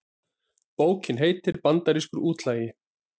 Bókin heitir Bandarískur útlagi